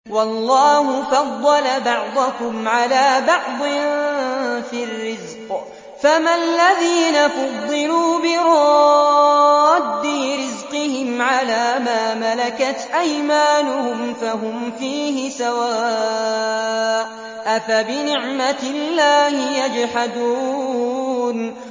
وَاللَّهُ فَضَّلَ بَعْضَكُمْ عَلَىٰ بَعْضٍ فِي الرِّزْقِ ۚ فَمَا الَّذِينَ فُضِّلُوا بِرَادِّي رِزْقِهِمْ عَلَىٰ مَا مَلَكَتْ أَيْمَانُهُمْ فَهُمْ فِيهِ سَوَاءٌ ۚ أَفَبِنِعْمَةِ اللَّهِ يَجْحَدُونَ